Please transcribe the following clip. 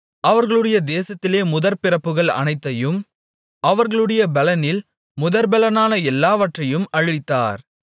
அவர்களுடைய தேசத்திலே முதற்பிறப்புகள் அனைத்தையும் அவர்களுடைய பெலனில் முதற்பெலனான எல்லோரையும் அழித்தார்